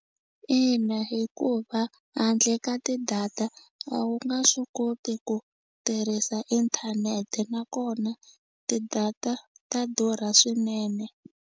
Ina hikuva handle ka ti-data a wu nga swi koti ku tirhisa inthanete nakona ti-data ta durha swinene.